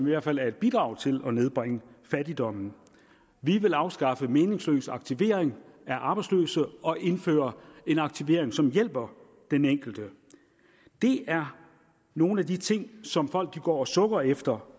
i hvert fald er at bidrage til at nedbringe fattigdommen vi vil afskaffe meningsløs aktivering af arbejdsløse og indføre en aktivering som hjælper den enkelte det er nogle af de ting som folk går og sukker efter